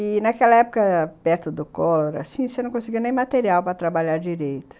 E naquela época, perto do Collor, você não conseguia nem material para trabalhar direito.